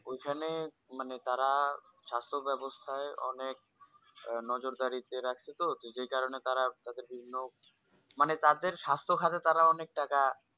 ঐখানে মানে তারা সাস্থ ব্যাবস্থায় অনেক আহ নজর দাড়িতে রাখে তো তো যেই কারণে তারা তাদেরকে নক মানে তাদের সাস্থ ঘাতে তারা অনেক টাকা